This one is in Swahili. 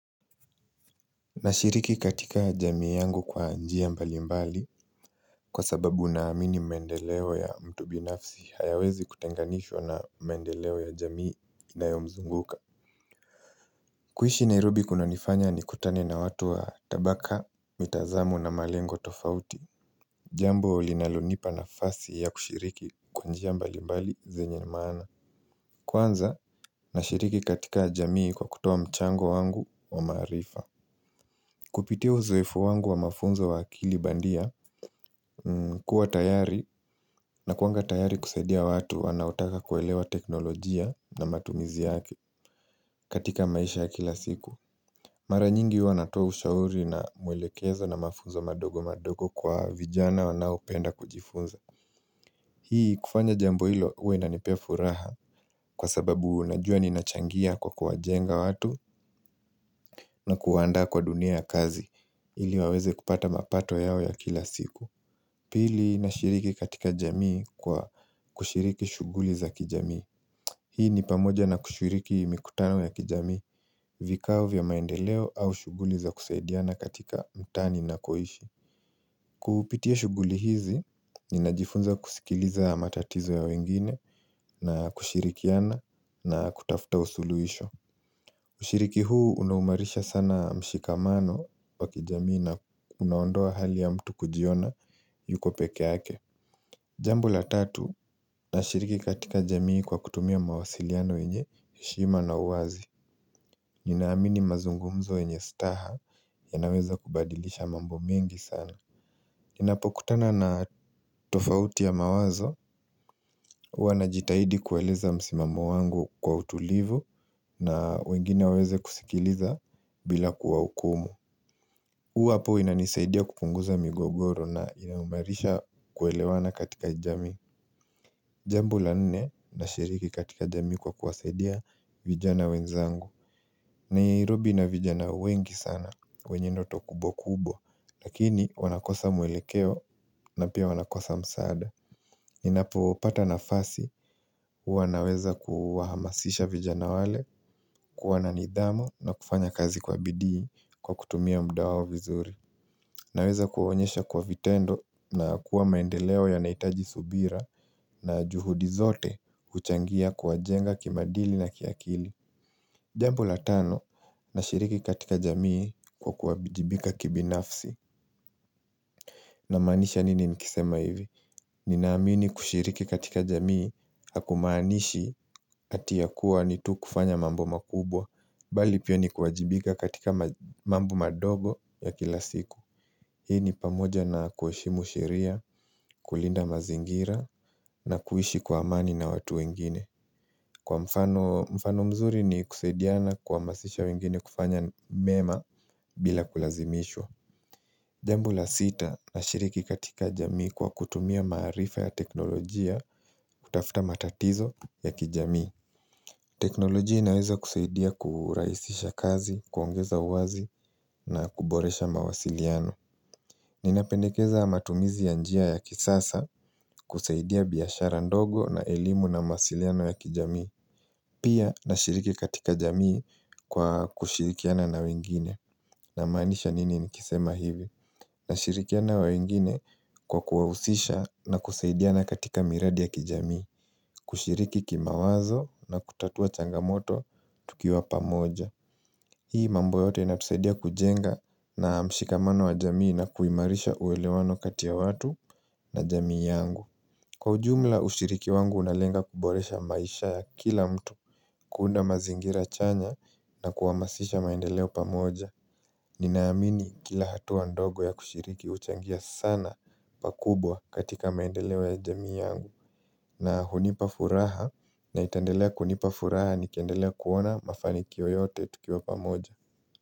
Nashiriki katika jamii yangu kwa njia mbalimbali kwa sababu naamini mendeleo ya mtu binafsi hayawezi kutenganishwa na mendeleo ya jamii inayomzunguka kuishi Nairobi kunanifanya nikutane na watu wa tabaka, mitazamo na malengo tofauti Jambo linalonipa nafasi ya kushiriki kwa njia mbalimbali zenye maana Kwanza nashiriki katika jamii kwa kutoa mchango wangu wa maarifa Kupitia uzoefu wangu wa mafunzo wa akili bandia kuwa tayari, nakuanga tayari kusaidia watu wanaotaka kuelewa teknolojia na matumizi yake, katika maisha ya kila siku. Mara nyingi huwa natoa ushauri na mwelekezo na mafunzo madogo madogo kwa vijana wanaopenda kujifunza. Hii kufanya jambo hilo huwa inanipea furaha kwa sababu najua ninachangia kwa kuwajenga watu na kuwaandaa kwa dunia ya kazi ili waweze kupata mapato yao ya kila siku. Pili nashiriki katika jamii kwa kushiriki shuguli za kijamii. Hii ni pamoja na kushiriki mikutano ya kijamii vikao vya maendeleo au shuguli za kusaidiana katika mtaa ninakoishi. Kupitia shuguli hizi, ninajifunza kusikiliza matatizo ya wengine na kushirikiana na kutafuta usuluhisho. Ushiriki huu unaimarisha sana mshikamano wa kijamii na unaondoa hali ya mtu kujiona yuko peke ake. Jambo la tatu, nashiriki katika jamii kwa kutumia mawasiliano yenye heshima na uwazi Ninaamini mazungumzo yenye staha yanaweza kubadilisha mambo mengi sana Ninapokutana na tofauti ya mawazo Uwa najitahidi kueleza msimamo wangu kwa utulivu na wengine waweze kusikiliza bila kuwahukumu Uwa hapo inanisaidia kupunguza migogoro na inaimarisha kuelewana katika jamii Jambo la nne, nashiriki katika jamii kwa kuwasaidia vijana wenzangu Nairobi ina vijana wengi sana, wenye ndoto kubwa kubwa, lakini wanakosa mwelekeo na pia wanakosa msaada Ninapopata nafasi huwa naweza kuwahamasisha vijana wale, kuwa na nidhamu na kufanya kazi kwa bidii kwa kutumia muda vizuri Naweza kuwaonyesha kwa vitendo, na kuwa maendeleo yanahitaji subira na juhudi zote huchangia kuwajenga kimaadili na kiakili Jambo la tano, nashiriki katika jamii kwa kuwajibika kibinafsi Namaanisha nini nikisema hivi, ninaamini kushiriki katika jamii Hakumaanishi ati yakuwa ni tu kufanya mambo makubwa, bali pia ni kuwajibika katika mambo madogo ya kila siku Hii ni pamoja na kuheshimu sheria, kulinda mazingira na kuishi kwa amani na watu wengine. Kwa mfano; mfano mzuri ni kusaidiana kuhamasisha wengine kufanya mema bila kulazimishwa Jambo la sita, nashiriki katika jamii kwa kutumia maarifa ya teknolojia kutafuta matatizo ya kijamii teknolojia inaweza kusaidia kurahisisha kazi, kuongeza uwazi na kuboresha mawasiliano Ninapendekeza matumizi ya njia ya kisasa kusaidia biashara ndogo na elimu na mawasiliano ya kijamii Pia nashiriki katika jamii kwa kushirikiana na wengine Namaanisha nini nikisema hivi, nashirikiana na wengine kwa kuwahusisha na kusaidiana katika miradi ya kijamii kushiriki kimawazo na kutatua changamoto tukiwa pamoja Hii mambo yote inatusaidia kujenga na mshikamano wa jamii na kuimarisha uwelewano kati ya watu na jamii yangu. Kwa ujumla, ushiriki wangu unalenga kuboresha maisha ya kila mtu. Kuunda mazingira chanya na kuhamasisha maendeleo pamoja Ninaamini kila hatua ndogo ya kushiriki huchangia sana pakubwa katika maendeleo ya jamii yangu na hunipa furaha na itandelea kunipa furaha nikiendelea kuona mafanikio yote tukiwa pamoja.